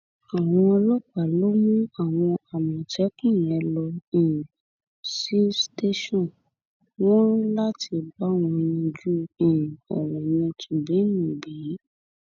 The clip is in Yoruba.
àwọn ọlọpàá ló mú àwọn àmọtẹkùn yẹn lọ um sí sítéṣàn wọn láti bá wọn yanjú um ọrọ yẹn nítùbíǹnuùbí